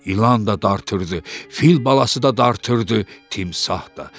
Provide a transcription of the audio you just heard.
İlan da dartırdı, fil balası da dartırdı, timsah da.